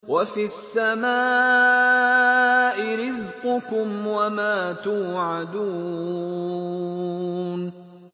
وَفِي السَّمَاءِ رِزْقُكُمْ وَمَا تُوعَدُونَ